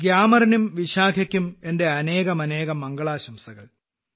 ഗ്യാമറിനും വിശാഖയ്ക്കും എന്റെ അനേകമനേകം മംഗളാശംസകൾ